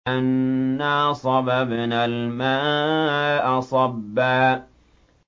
أَنَّا صَبَبْنَا الْمَاءَ صَبًّا